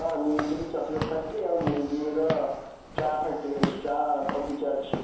ହଁ, ର chocolate factory ଆଉ ର ଚା factory ଅଛି, ଚା ବଗିଚା ଅଛି ସବୁ।